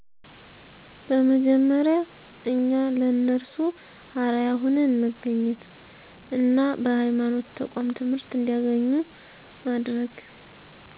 በመጀመሪያ እኛ ለነርሱ አርአያ ሁነን መገኘት እና በሐይማኖት ተቋም ትምህርት እንዲያገኙ ማድረግ